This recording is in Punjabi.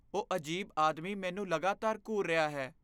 ਉਹ ਅਜੀਬ ਆਦਮੀ ਮੈਨੂੰ ਲਗਾਤਾਰ ਘੂਰ ਰਿਹਾ ਹੈ।